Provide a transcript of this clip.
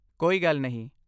ਕੋਈ ਗੱਲ ਨਹੀਂ